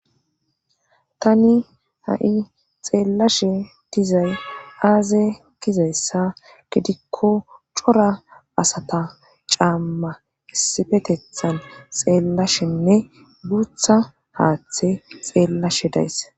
Tani ha'i xeellashe dizay aaze kizayssa gidikko cora asata caamma issifetethan xeellashenne guutha haaththe xeellashe days.